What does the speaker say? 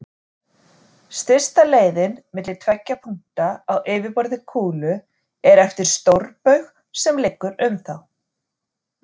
Stysta leiðin milli tveggja punkta á yfirborði kúlu er eftir stórbaug sem liggur um þá.